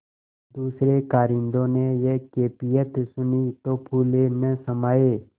दूसरें कारिंदों ने यह कैफियत सुनी तो फूले न समाये